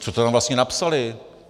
Co to tam vlastně napsali?